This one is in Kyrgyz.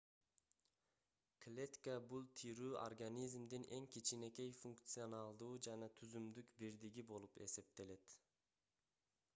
клетка бул тирүү организмдин эң кичинекей функционалдуу жана түзүмдүк бирдиги болуп эсептелет